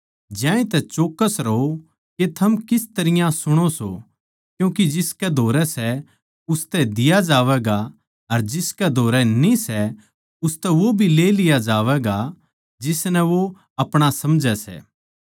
ज्यांतै चौक्कस रहो के थम किस तरियां सुणो सो क्यूँके जिसकै धोरै सै उसतै दिया जावैगा अर जिसकै धोरै न्ही सै उसतै वो भी ले लिया जावैगा जिसनै वो अपणा समझै सै